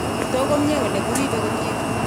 Kitook komie kole kuriibei komie.